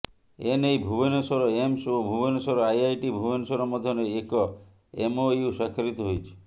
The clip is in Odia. ଏନେଇ ଭୁବନେଶ୍ୱର ଏମ୍ସ ଓ ଭୁବନେଶ୍ୱର ଆଇଆଇଟି ଭୁବନେଶ୍ୱର ମଧ୍ୟରେ ଏକ ଏମ୍ଓୟୁ ସ୍ୱାକ୍ଷରିତ ହୋଇଛି